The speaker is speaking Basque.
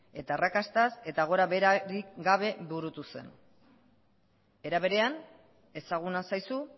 eta arrakastaz eta gora beherarik gabe burutu zen era berean ezaguna zaizu